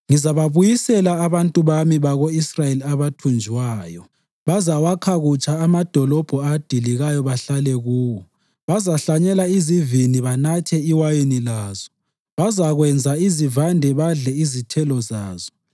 Ngizababuyisela abantu bami bako-Israyeli abathunjwayo. Bazawakha kutsha amadolobho adilikayo bahlale kuwo. Bazahlanyela izivini banathe iwayini lazo; bazakwenza izivande badle izithelo zazo.